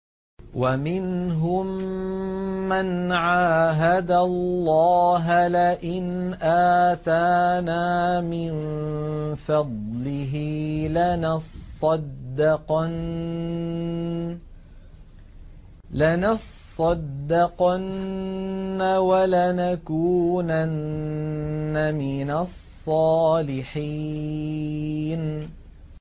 ۞ وَمِنْهُم مَّنْ عَاهَدَ اللَّهَ لَئِنْ آتَانَا مِن فَضْلِهِ لَنَصَّدَّقَنَّ وَلَنَكُونَنَّ مِنَ الصَّالِحِينَ